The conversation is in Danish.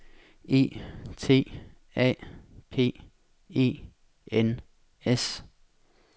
E T A P E N S